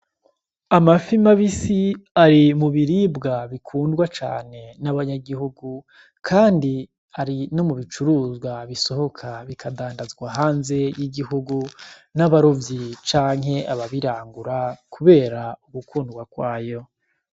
Amafi mabisi ari mu biribwa bikundwa cane n'abanyagihugu, kandi ari no mu bicuruzwa bisohoka bikadandazwa hanze y'igihugu, n'abarovyi canke ababirangura kubera ugukundwa kwayo.